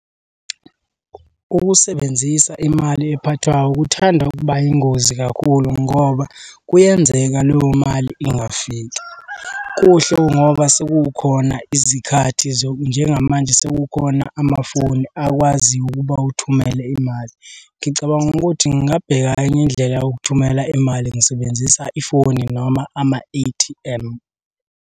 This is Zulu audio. Ukusebenzisa imali ephathwayo kuthanda ukuba yingozi kakhulu ngoba kuyenzeka leyo mali ingafika. Kuhle ngoba sekukhona izikhathi . Njengamanje sekukhona amafoni akwaziyo ukuba uthumele imali. Ngicabanga ukuthi ngingabheka enye indlela yokuthumela imali ngisebenzisa ifoni noma ama-A_T_M.